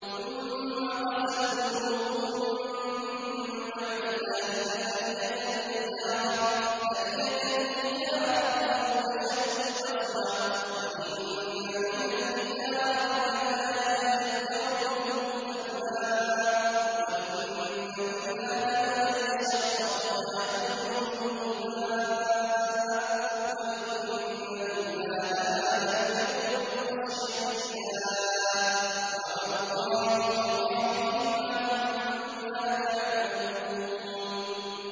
ثُمَّ قَسَتْ قُلُوبُكُم مِّن بَعْدِ ذَٰلِكَ فَهِيَ كَالْحِجَارَةِ أَوْ أَشَدُّ قَسْوَةً ۚ وَإِنَّ مِنَ الْحِجَارَةِ لَمَا يَتَفَجَّرُ مِنْهُ الْأَنْهَارُ ۚ وَإِنَّ مِنْهَا لَمَا يَشَّقَّقُ فَيَخْرُجُ مِنْهُ الْمَاءُ ۚ وَإِنَّ مِنْهَا لَمَا يَهْبِطُ مِنْ خَشْيَةِ اللَّهِ ۗ وَمَا اللَّهُ بِغَافِلٍ عَمَّا تَعْمَلُونَ